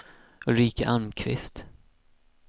Ulrika Almqvist